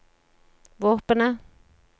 våpenet